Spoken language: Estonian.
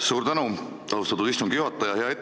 Suur tänu, austatud istungi juhataja!